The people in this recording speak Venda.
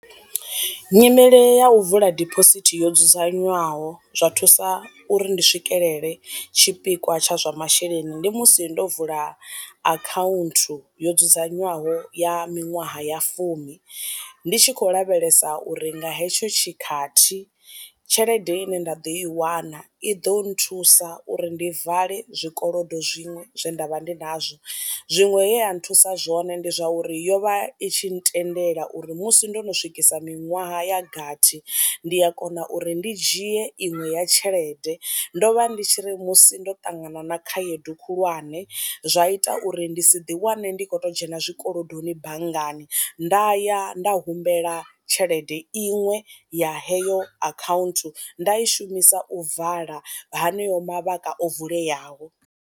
Nyimele ya u vula dibosithi yo dzudzanywaho zwa thusa uri ndi swikelele tshipikwa tsha zwa masheleni, ndi musi ndo vula akhaunthu yo dzudzanywaho ya minwaha ya fumi ndi tshi khou lavhelesa uri nga hetsho tshikhathi tshelede i ne nda ḓo i wana i ḓo nthusa uri ndi vale zwi kolodo zwiṅwe zwe nda vha ndi nazwo, zwiṅwe he a nthusa zwone ndi zwa uri yo vha i tshi ntendela uri musi ndono swikisa miṅwaha ya gathi ndi a kona uri ndi dzhie iṅwe ya tshelede, ndo vha ndi tshi ri musi ndo ṱangana na khaedu khulwane zwa ita uri ndi si ḓi wane ndi kho to dzhena zwi kolodoni banngani nda ya nda humbela tshelede iṅwe ya heyo akhaunthu nda i shumisa u vala haneyo mavhaka o vuleyaho.